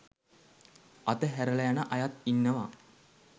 අත හැරලා යන අයත් ඉන්නවා.